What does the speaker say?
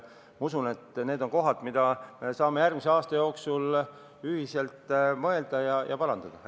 Ma usun, et need on kohad, mille üle me saame järgmise aasta jooksul ühiselt mõelda ja neid parandada.